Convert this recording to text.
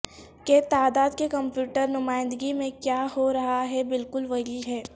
کہ تعداد کے کمپیوٹر نمائندگی میں کیا ہو رہا ہے بالکل وہی ہے